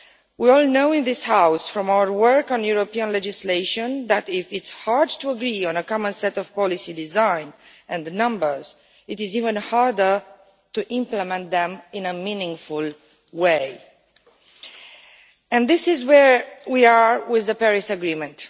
We all know in this House from our work on European legislation that if it is hard to agree on a common set of policy design and the numbers, it is even harder to implement them in a meaningful way. And this is where we are with the Paris Agreement.